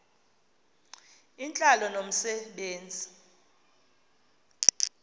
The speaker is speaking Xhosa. intlalo nomse benzi